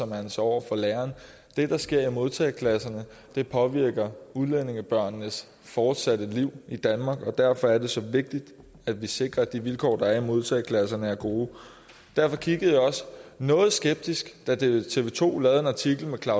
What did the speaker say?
man sig over for læreren det der sker i modtageklasserne påvirker udlændingebørnenes fortsatte liv i danmark og derfor er det så vigtigt at vi sikrer at de vilkår der er i modtageklasserne er gode derfor kiggede jeg også noget skeptisk da tv tv to lavede en artikel med